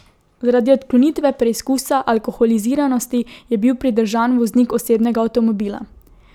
Zaradi odklonitve preizkusa alkoholiziranosti je bil pridržan voznik osebnega avtomobila.